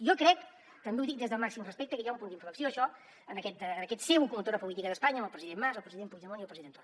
jo crec també ho dic des del màxim respecte que hi ha un punt d’inflexió en això en aquest ser locomotora política d’espanya amb el president mas el president puigdemont i el president torra